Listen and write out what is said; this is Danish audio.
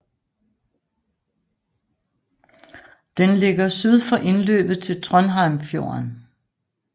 Den ligger syd for indløbet til Trondheimsfjorden